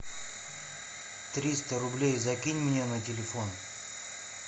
триста рублей закинь мне на телефон